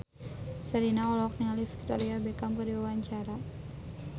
Sherina olohok ningali Victoria Beckham keur diwawancara